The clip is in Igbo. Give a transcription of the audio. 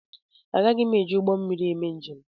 Agaghị m eji ụgbọ mmiri eme njem.